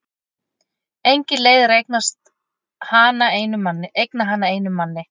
Engin leið er að eigna hana einum manni.